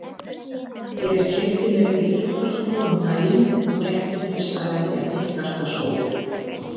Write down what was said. Ég keypti mér íþróttaskó um daginn og gætti þess að velja þykkasta sól